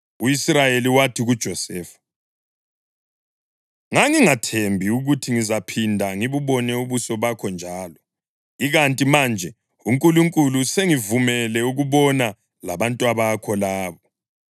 U-Israyeli wathi kuJosefa, “Ngangingathembi ukuthi ngizaphinda ngibubone ubuso bakho njalo, ikanti manje uNkulunkulu usengivumele ukubona labantwabakho labo.”